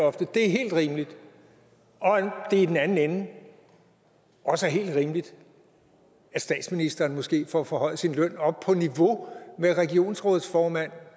at det er helt rimeligt og at det i den anden ende også er rimeligt at statsministeren måske får forhøjet sin løn op på niveau med regionsrådsformand